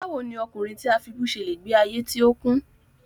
Báwo ni ọkùnrin tí a fibú ṣe le gbe ayé tí ó kún?